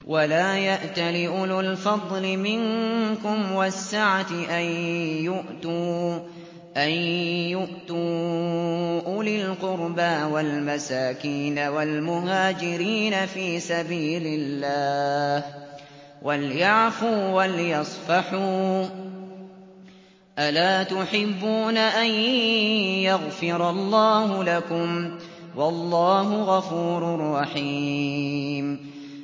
وَلَا يَأْتَلِ أُولُو الْفَضْلِ مِنكُمْ وَالسَّعَةِ أَن يُؤْتُوا أُولِي الْقُرْبَىٰ وَالْمَسَاكِينَ وَالْمُهَاجِرِينَ فِي سَبِيلِ اللَّهِ ۖ وَلْيَعْفُوا وَلْيَصْفَحُوا ۗ أَلَا تُحِبُّونَ أَن يَغْفِرَ اللَّهُ لَكُمْ ۗ وَاللَّهُ غَفُورٌ رَّحِيمٌ